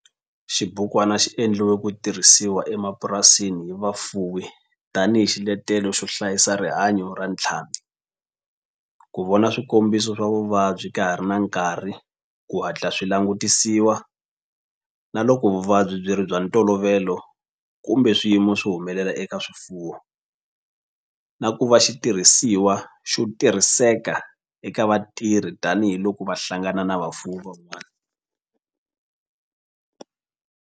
Xibukwana xi endliwe ku tirhisiwa emapurasini hi vafuwi tani hi xiletelo xo hlayisa rihanyo ra ntlhambhi, ku vona swikombiso swa vuvabyi ka ha ri na nkarhi ku hatla swi langutisiwa loko vuvabyi bya ntolovelo kumbe swiyimo swi humelela eka swifuwo, na ku va xitirhisiwa xo tirhiseka eka vatirhi tani hi loko va hlangana na vafuwi van'wana.